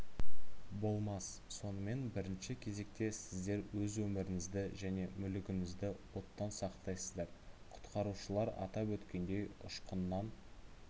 болмас сонымен бірінші кезекте сіздер өз өміріңізді және мүлігіңізді оттан сақтайсыздар құтқарушылар атап өткендей ұшқыннан